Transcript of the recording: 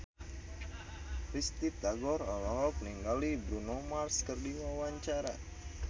Risty Tagor olohok ningali Bruno Mars keur diwawancara